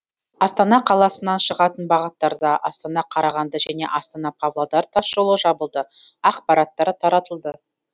астана қаласынан шығатын бағыттарда астана қарағанды және астана павлодар тасжолы жабылды ақпараттар таратылды